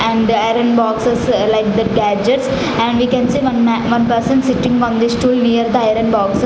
and the iron boxes like that gadgets and we can see one ma one person sitting on this stool near the iron box.